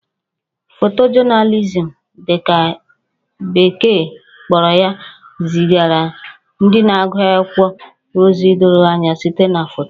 Photojournalism' dị ka beke kpọrọ ya zigara ndị na-agụ akwụkwọ ozi doro anya site na foto